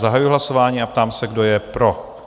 Zahajuji hlasování a ptám se, kdo je pro?